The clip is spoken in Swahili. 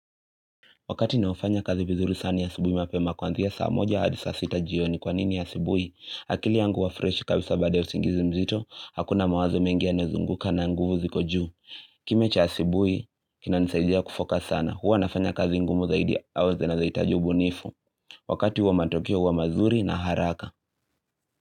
Wakati ninaofanya kazi vizuri sani asibui mapema kwanzia saa moja hadi saa sita jioni kwa nini ya sibui akili yangu hua fresh kabisa baada ya usingizi mzito hakuna mawazo mengi yanezunguka na nguvu ziko juu kime cha asibuhi kinanisaidia kufocus sana huwa nafanya kazi ngumu zaidi au zinazohitaji ubunifu Wakati huo matokeo huwa mazuri na haraka.